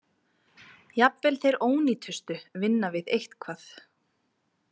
Jafnvel þeir ónýtustu vinna við eitthvað.